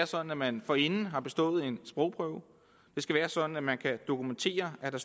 sådan at man forinden har bestået en sprogprøve det skal være sådan at man kan dokumentere at